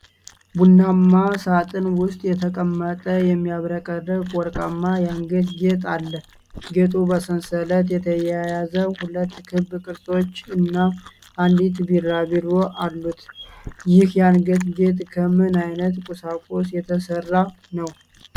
በቡናማ ሳጥን ውስጥ የተቀመጠ የሚያብረቀርቅ ወርቃማ የአንገት ጌጥ አለ። ጌጡ በሰንሰለት የተያያዙ ሁለት ክብ ቅርጾች እና አንዲት ቢራቢሮ አሉት። ይህ የአንገት ጌጥ ከምን ዓይነት ቁሳቁስ የተሠራ ነው?